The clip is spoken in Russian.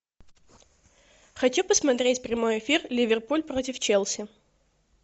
хочу посмотреть прямой эфир ливерпуль против челси